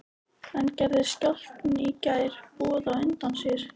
En gerði skjálftinn í gær boð á undan sér?